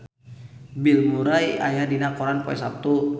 Bill Murray aya dina koran poe Saptu